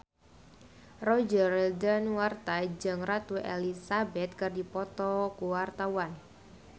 Roger Danuarta jeung Ratu Elizabeth keur dipoto ku wartawan